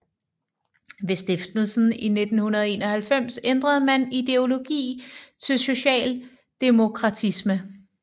Ved stiftelsen i 1991 ændrede man ideologi til socialdemokratisme